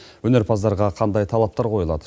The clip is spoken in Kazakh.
өнерпаздарға қандай талаптар қойылады